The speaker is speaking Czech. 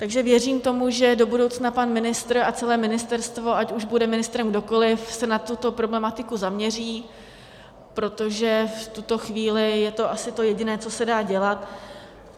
Takže věřím tomu, že do budoucna pan ministr a celé ministerstvo, ať už bude ministrem kdokoli, se na tuto problematiku zaměří, protože v tuto chvíli je to asi to jediné, co se dá dělat.